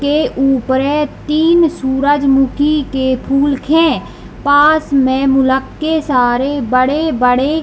के ऊपरे तीन सूर्यमुखी के फूल के खें पास में मुल्के सारे बड़े-बड़े --